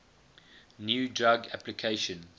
new drug application